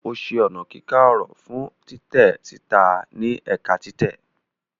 O ṣe ọna kika ọrọ fun titẹ sita ni ẹka titẹ.